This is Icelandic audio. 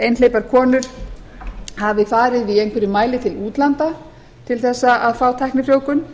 einhleypar konur hafi farið í einhverjum mæli til útlanda til að fá tæknifrjóvgun